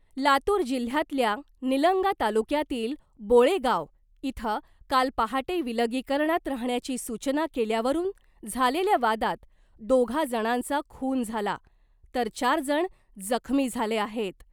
लातूर जिल्ह्यातल्या निलंगा तालुक्यातील बोळेगाव इथ काल पहाटे विलगीकरणात राहण्याची सूचना केल्यावरुन झालेल्या वादात दोघा जणांचा खून झाला तर चार जण जखमी झाले आहेत .